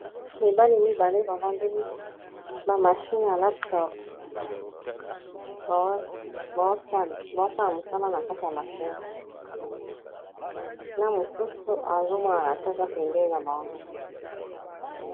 Mibali mibale bavandeli bamashine ya laptop bazosala mosala na kati ya machine na mosusu azo monana te eza pembeni na bango